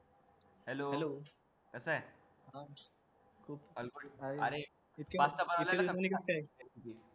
कसा हे पास्ता बनवायला जमलं काय